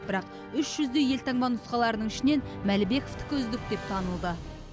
бірақ үш жүздей елтаңба нұсқаларының ішінен мәлібековтікі үздік деп танылды